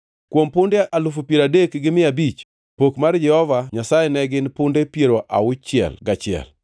kuom punde alufu piero adek gi mia abich (30,500), pok mar Jehova Nyasaye ne gin punde piero auchiel gachiel (61);